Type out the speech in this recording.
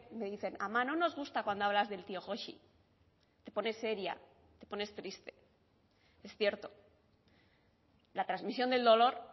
me dicen ama no nos gusta cuando hablas del tío joxi te pones seria te pones triste es cierto la transmisión del dolor